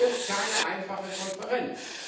Weg. Das wird keine einfache Konferenz.